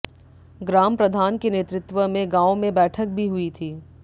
ग्रामप्रधान के नेतृत्व में गांव में बैठक भी हुई थी